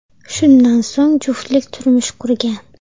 Shundan so‘ng juftlik turmush qurgan.